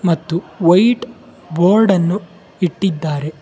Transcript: ಮತ್ತು white board ಅನ್ನು ಇಟ್ಟಿದ್ದಾರೆ.